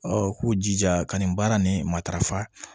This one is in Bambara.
u k'u jija ka nin baara ni matarafa